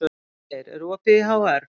Vilgeir, er opið í HR?